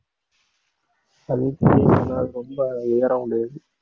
ரொம்ப ஏறமுடியாது